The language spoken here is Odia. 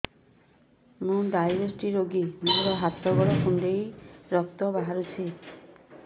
ମୁ ଡାଏବେଟିସ ରୋଗୀ ମୋର ହାତ ଗୋଡ଼ କୁଣ୍ଡାଇ ରକ୍ତ ବାହାରୁଚି